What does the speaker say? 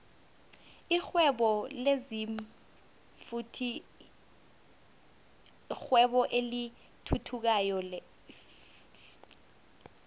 lihwebo lezinfhvthi yirwebo elithuthukayo flhe